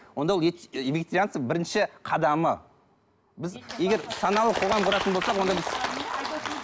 онда ол ет вегетарианство бірінші қадамы біз егер саналы қоғам құратын болсақ онда біз